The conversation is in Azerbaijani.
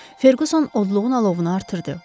Ferquson odluğun alovunu artırdı.